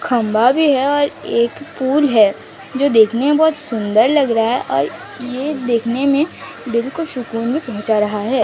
खंभा भी है और एक पुल है जो देखने में बहुत सुंदर लग रहा है और ये देखने में दिल को सुकून भी पहुंचा रहा है।